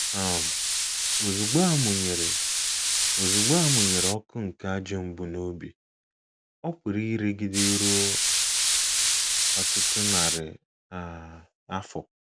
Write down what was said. um Ozugbo a mụnyere Ozugbo a mụnyere ọkụ nke ajọ mbunobi, ọ pụrụ iregide ruo um ọtụtụ narị um afọ.